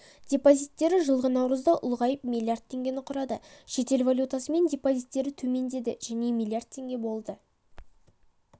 депозиттері жылғы наурызда ұлғайып млрд теңгені құрады шетел валютасымен депозиттері төмендеді және млрд теңге болды